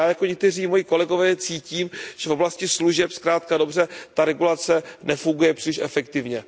Já i jako někteří moji kolegové cítím, že v oblasti služeb zkrátka a dobře ta regulace nefunguje příliš efektivně.